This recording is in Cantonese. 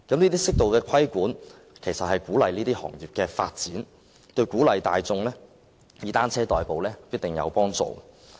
這些適度的規管其實可鼓勵行業的發展，對鼓勵大眾以單車代步亦必定有幫助。